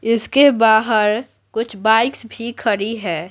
इसके बाहर कुछ बाइक्स भी खड़ी है।